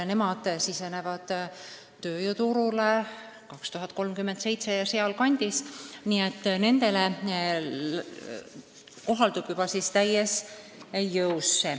Nemad sisenevad tööjõuturule 2037. aasta kandis ja nendele kohaldub uus süsteem täies jõus.